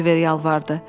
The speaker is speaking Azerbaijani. Oliver yalvardı.